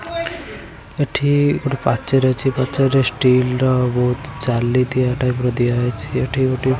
ଏଠି ଗୋଟେ ପାଚେରୀ ଅଛି ପାଚେରୀ ଷ୍ଟିଲ ର ବହୁତ ଜାଳି ଦିଆ ଟାଇପ୍ ଦିଆଛି ଏଠି ଗୋଟେ --